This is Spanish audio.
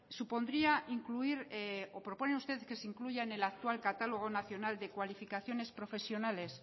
proponen ustedes que se incluyan en el actual catálogo nacional de cualificaciones profesionales